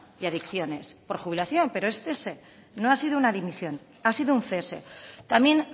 y adicciones por jubilación pero es cese no ha sido una dimisión ha sido un cese también